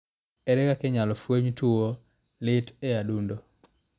Ere kaka inyalo fweny tuwo lit e adundo ?